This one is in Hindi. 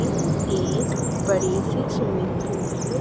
एक बड़े से स्विमिंग पूल को--